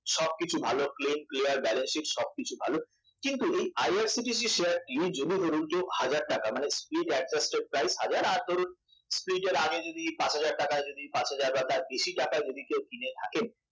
সবকিছু ভালো claim clear balance sheet সব কিছু ভালো কিন্তু এই IRCTC শেয়ারটি যদি ধরুন কেউ হাজার টাকা split adjusted price হাজার আর ধরুন split এর আগে যদি পাঁচ হাজার বা তার বেশি টাকায় যদি কেউ কিনে থাকে